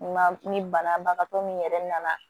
Ma ni banabagatɔ min yɛrɛ nana